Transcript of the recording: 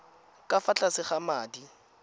ka fa tlase ga madi